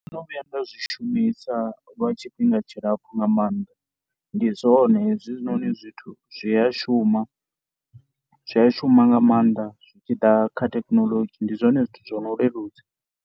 Ndo no vhuya nda zwi shumisa lwa tshifhinga tshilapfhu nga maanḓa, ndi zwone hezwinoni zwithu. Zwi a shuma, zwi a shuma nga maanḓa zwi tshi ḓa kha thekinoḽodzhi ndi zwone zwithu zwo no leludza.